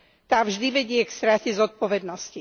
Tá vždy vedie k strate zodpovednosti.